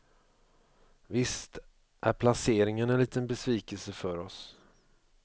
Visst är placeringen en liten besvikelse för oss.